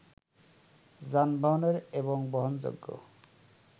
যানবাহনের এবং বহনযোগ্য